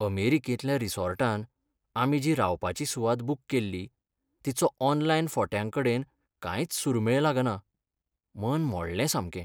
अमेरिकेंतल्या रिसॉर्टांत आमी जी रावपाची सुवात बूक केल्ली तिचो ऑनलायन फोट्यांकडेन कांयच सूरमेळ लागना. मन मोडलें सामकें!